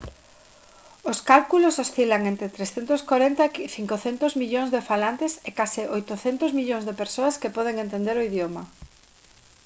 os cálculos oscilan entre 340 e 500 millóns de falantes e case 800 millóns de persoas que poden entender o idioma